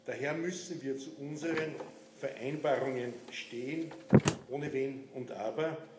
Daher müssen wir zu unseren Vereinbarungen stehen, ohne Wenn und Aber.